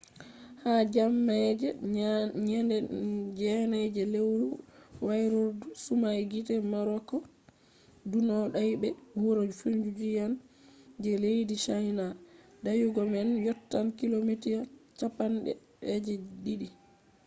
ha jemma je nyande 9 je lewru wairordu sumai gite morakot ɗunno dayi be wuro fujiyan je leddi chaina. dayugo man yottan kilomita cappande je ɗiɗi